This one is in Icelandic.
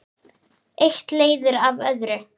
Eitt leiðir af öðru.